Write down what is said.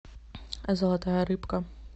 золотая рыбка